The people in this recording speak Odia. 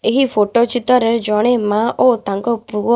ଏହି ଫଟୋ ଚିତ୍ର ରେ ଜଣେ ମା ଓ ତାଙ୍କ ପୁଅ--